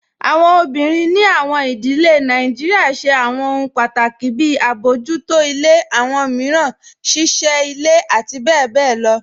Awọn obìnrin ní awọn ìdílẹ̀ Nàìjíríà ṣẹ̀ awọn òhun pátákì, bí àbọjútọ̀ awọn miíràn, ṣíṣẹ́ ilẹ̀, àti bẹ̀bẹ̀ lọ.